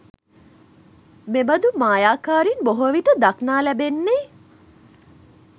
මෙබඳු මායාකාරීන් බොහෝ විට දක්නා ලැබෙන්නේ